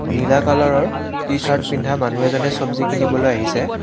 নীলা কালাৰৰ টি-শ্বাৰ্ট পিন্ধা মানুহ এজনে চব্জি কিনিবলৈ আহিছে।